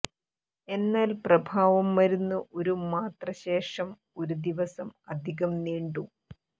എന്നാൽ പ്രഭാവം മരുന്ന് ഒരു മാത്ര ശേഷം ഒരു ദിവസം അധികം നീണ്ടു